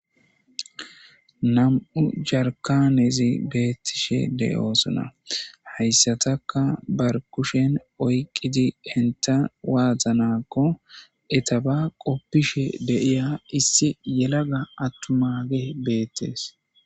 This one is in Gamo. nam7u jarkanezi beettishe deyoosona hayssataka bar kushen oyqqidi enta waazanakko etaba qoppishe deiya issi yelaga attu mage beettees